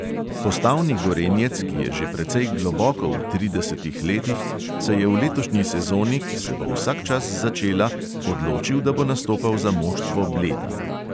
Postavni gorenjec, ki je že precej globoko v tridesetih letih, se je v letošnji sezoni, ki se bo vsak čas začela, odločil, da bo nastopal za moštvo bleda.